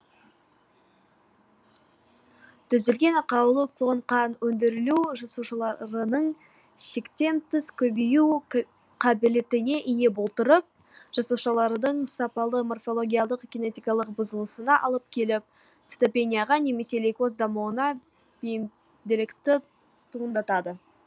түзілген ақаулы клон қан өндірілу жасушаларының шектен тыс көбею қабілетіне ие болдыртып жасушалардың сапалы морфологиялық кинетикалық бұзылысына алып келіп цитопенияға немесе лейкоз дамуына бейімділікті туындатады